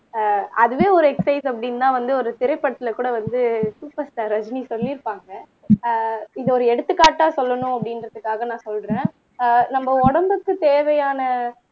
ஆஹ் அதுவே ஒரு எக்ஸ்ர்சைஸ் அப்படின்னுதான் வந்து ஒரு திரைப்படத்துல கூட வந்து சூப்பர்ஸ்டார் ரஜினி சொல்லியிருப்பாங்க ஆஹ் இத ஒரு எடுத்துக்காட்டா சொல்லணும் அப்படின்றதுக்காக நான் சொல்றேன் அஹ் நம்ம உடம்புக்கு தேவையான